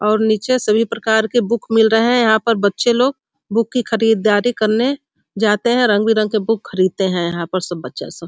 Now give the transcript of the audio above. और नीचे सभी प्रकार के बुक मिल रहा है यहाँ पर बच्चे लोग बुक की खरीदारी करने जाते हैं रंग-बिरंग के बुक खरीदते हैं यहाँ पे सब बच्चा सब।